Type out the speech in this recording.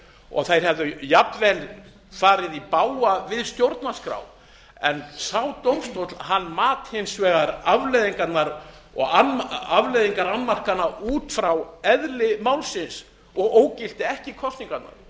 og þær hefðu jafnvel farið í bága við stjórnarskrá en sá dómstóll mat hins vegar afleiðingar annmarkanna út frá eðli málsins og ógilti ekki kosningarnar það